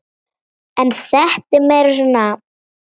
En þetta er meira svona.